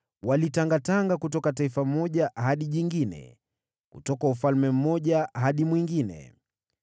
walitangatanga kutoka taifa moja hadi jingine, kutoka ufalme mmoja hadi mwingine.